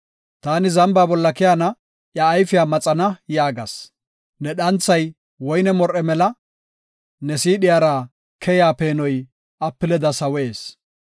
Taani, “Zamba bolla keyana; iya ayfiya maxana” yaagas. Ne dhanthay woyne mor7e mela; ne siidhiyara keya peenoy apileda sawees.